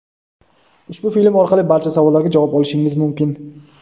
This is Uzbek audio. Ushbu film orqali barcha savollarga javob olishingiz mumkin.